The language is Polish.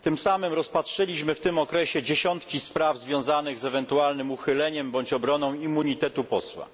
W tym okresie rozpatrzyliśmy dziesiątki spraw związanych z ewentualnym uchyleniem bądź obroną immunitetu posła.